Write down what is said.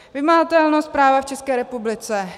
Vymahatelnost práva v České republice.